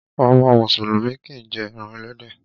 Ọmọ mùsùlùmí kìí jé eran ẹlẹ́dẹ̀.